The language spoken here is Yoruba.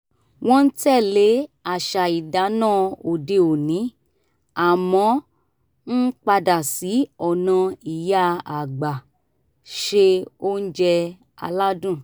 wọ́n ń tẹ̀lé àṣà ìdáná òde òní àmọ́ ń padà sí ọ̀nà ìyá àgbà ṣe oúnjẹ aládùn